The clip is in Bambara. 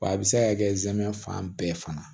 Wa a bɛ se ka kɛ zɛmɛ fan bɛɛ fana